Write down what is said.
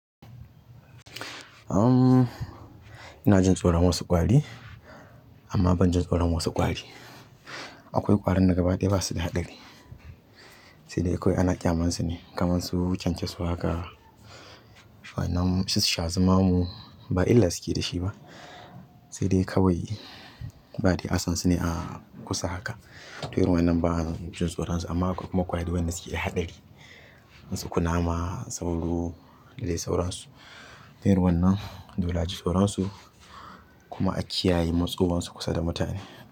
Ina jin tsoron wasu ƙwari amma ban jin tsoron wasu ƙwari. Akwai ƙwarin da gaba ɗaya ba su da haɗari, sai dai akwai ana ƙyamansu ne kamar su kyankyaso haka, sannan su shazumamu ba illa suke da shi ba. Sai dai kawai baɗai asansu ne a kusa haka. To iren wannan ba zan jin tsoron su amma akwai kuma ƙwari wanda suke da haɗari. Kamar su kunama, sauro dai sauransu. To irin wannan dole a ji tsoron su kuma a kiyaye matsowansu kusa da mutane.